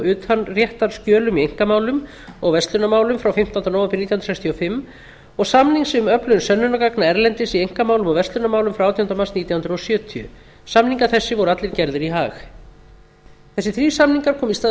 utanréttarskjölum í einkamálum og verslunarmálum frá fimmtándu nóv nítján hundruð sextíu og fimm og samnings um öflun sönnunargagna erlendis í einkamálum og verslunarmálum frá átjándu mars nítján hundruð sjötíu samningar þessir voru allir gerðir í haag þessir þrír samningar komu í stað